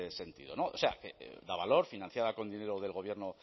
sentido no o sea que davalor financiada con dinero del gobierno